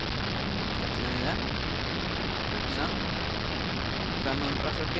trettionio tusen femhundrafyrtioett